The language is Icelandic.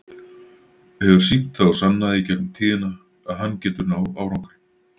Hefur sýnt það og sannað í gegnum tíðina að hann getur náð árangri.